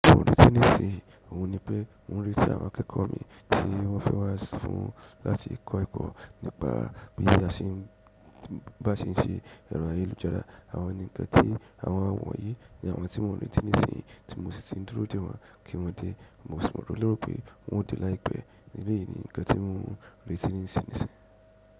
Ohun tí ń ṣe ohun ni pé n rí tí àwọn akẹ́kọ̀ọ́ mi tí wọ́n fẹ́ wá fún láti kọ́ ẹ̀kọ́ nípa bí a ṣe ń ṣe ẹrọ ayélujára. Àwọn ni ǹkan tí àwọn wọ̀nyí ni àwọn tí mo mọ̀ reti nísinyi tí mo sì ti dúró dè wọ́n kí wọ́n dé. Mo sì mọ̀ lérò pé wọ́n ó dé láìpẹ́. Bẹ́ẹ̀ ni ǹkan tí mo ń retí nísin nisín.